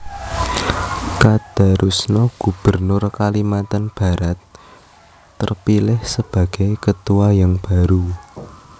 Kadarusno Gubernur kalimantan Barat terpilih sebagai ketua yang baru